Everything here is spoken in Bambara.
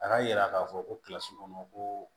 A ka yira k'a fɔ ko kɔnɔ ko